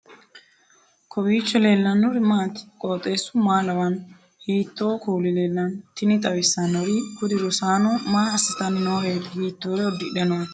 kowiicho leellannori maati ? qooxeessu maa lawaanno ? hiitoo kuuli leellanno ? tini xawissannori kuri rosaano maa assitanni nooreeti hiittoore uddidhe nooikka